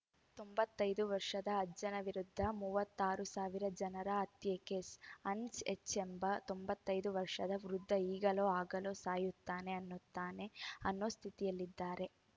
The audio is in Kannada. ತೊಂಬತ್ತೈದು ವರ್ಷದ ಅಜ್ಜನ ವಿರುದ್ಧ ಮೂವತ್ತ್ ಆರು ಸಾವಿರ ಜನರ ಹತ್ಯೆ ಕೇಸ್‌ ಹನ್ಸ್‌ ಎಚ್‌ ಎಂಬ ತೊಂಬತ್ತೈದು ವರ್ಷದ ವೃದ್ಧ ಈಗಲೋ ಆಗಲೋ ಸಾಯುತ್ತಾನೆ ಅನ್ನುತ್ತಾನೆ ಅನ್ನೋ ಸ್ಥಿತಿಯಲ್ಲಿದ್ದಾರೆ